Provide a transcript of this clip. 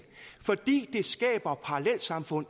fordi det skaber parallelsamfund